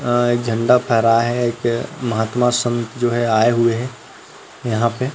अ झंडा फहराए हे एक महात्मा संत जो हे आये हुए हे यहाँ पे--